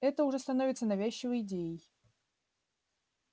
это уже становится навязчивой идеей